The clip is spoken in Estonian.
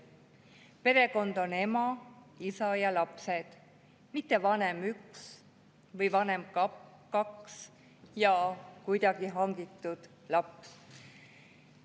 Perekond on ema, isa ja lapsed, mitte vanem nr 1 või vanem nr 2 ja kuidagi hangitud laps.